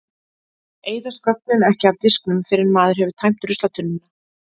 Eyðast gögnin ekki af disknum fyrr en maður hefur tæmt ruslatunnuna?